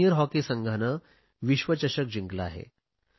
junior hockey संघाने विश्वचषक जिंकला आहे